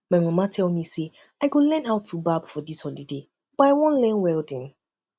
my mama tell me say i go learn how to barb hair for dis holiday but i wan learn welding